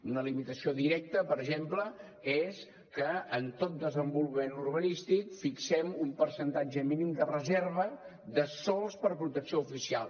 una limitació directa per exemple és que en tot desenvolupament urbanístic fixem un percentatge mínim de reserva de sòls per a protecció oficial